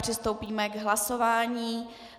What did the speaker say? Přistoupíme k hlasování.